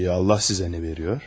Peki Allah sizə nə veriyor?